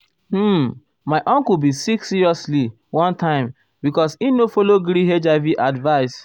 um my uncle bin sick seriously one time because im no follow gree hiv advice.